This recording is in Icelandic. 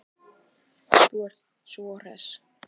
Þú sem ert svo hress!